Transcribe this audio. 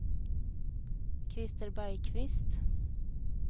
Christer Bergqvist